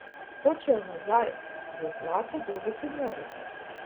Hočejo nazaj, v zlato dobo humorja.